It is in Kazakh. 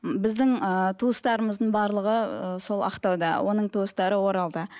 біздің ыыы туыстарымыздың барлығы ыыы сол ақтауда оның туыстары оралда